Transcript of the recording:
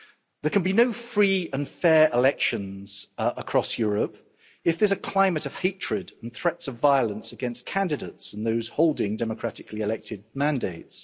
There can be no free and fair elections across Europe if there is a climate of hatred and threats of violence against candidates and those holding democratically elected mandates.